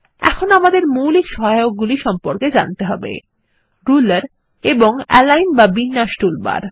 এখন আমাদের মৌলিক সহায়কগুলি সম্পর্কে জানতে হবে রুলার এবং এলাইন বা বিন্যাস টুলবার